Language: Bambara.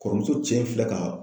Kɔrɔmuso cɛ in filɛ ka